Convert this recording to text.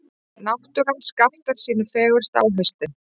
Náttúran skartar sínu fegursta á haustin.